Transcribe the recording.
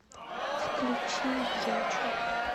включи бьячу